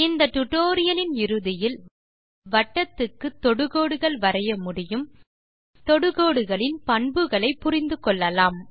இந்த டியூட்டோரியல் லின் இறுதியில் வட்டத்துக்கு தொடுகோடுகள் வரைய முடியும் தொடுகோடுகளின் பண்புகளை புரிந்து கொள்ளலாம்